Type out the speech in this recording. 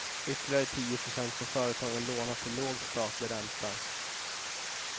Ytterligare tio procent får företagen låna till låg statlig ränta.